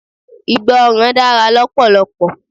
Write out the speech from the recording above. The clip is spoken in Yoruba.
Ìgbọràn dára lọpọlọpọ.